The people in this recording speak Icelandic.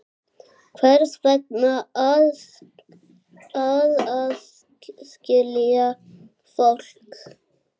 Hvers vegna að aðskilja fólk?